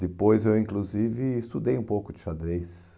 Depois eu inclusive estudei um pouco de xadrez.